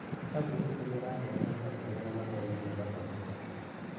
kambuni itũ nĩ ĩraheana wĩra kũrĩ arĩa mathomeire mathabu.